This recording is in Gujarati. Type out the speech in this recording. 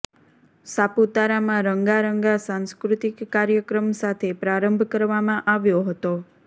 સાપુતારામાં રંગારંગા સાંસ્કૃતિક કાર્યક્રમ સાથે પ્રારંભ કરવામાં આવ્યો હતો